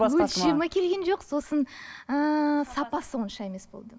өлшемі келген жоқ сосын ыыы сапасы онша емес болды